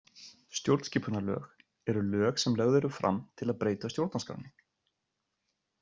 Stjórnskipunarlög eru lög sem lögð eru fram til að breyta stjórnarskránni.